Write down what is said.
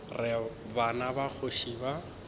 re bana ba kgoši ba